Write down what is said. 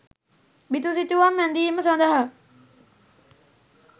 බිතුසිතුවම් ඇඳීම සඳහා